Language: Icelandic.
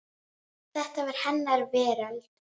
Hann var svo góðu vanur.